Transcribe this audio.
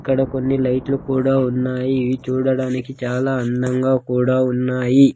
ఇక్కడ కొన్ని లైట్లు కూడా ఉన్నాయి ఇవి చూడడానికి చాలా అందంగా కూడా ఉన్నాయి.